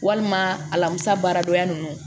Walima alamisa baaradonya ninnu